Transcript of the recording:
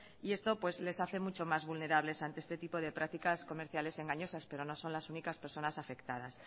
y esto les hace mucho más vulnerables ante este tipo de prácticas comerciales engañosas pero no son las únicas personas afectadas